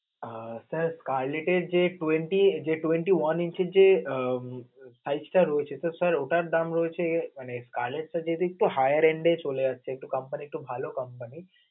আহ sir collect এ যে twenty, twenty one inch যে আহ five star রয়েছে, তো sir ওটার দাম রয়েছে মানে collect টা যদি hiyer and চলে আসে তো company তো এটা ভালো company